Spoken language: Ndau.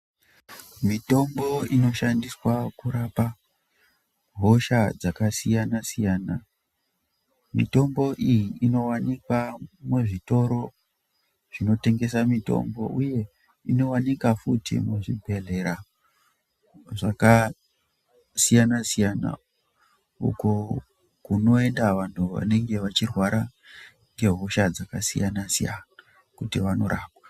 Mitombo inoshandiswa kurapa hosha dzakasiyana siyana, mitombo iyi inowanikwa muzvitoro zvinotengesa mitombo. Inowanika futhi muzvibhedhlera zvakasiyana siyana uko kunoenda vanhu vanenge vachirwara ngehosha dzakasiyana siyana kuti vanorapwa.